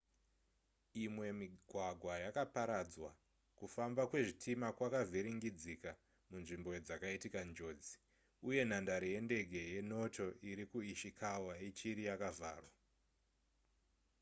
imwe migwagwa yakaparadzwa kufamba kwezvitima kwakavhiringidzika munzvimbo dzakaitika njodzi uye nhandare yendege yenoto iri kuishikawa ichiri yakavharwa